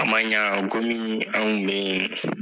A ma ɲa gomii anw bee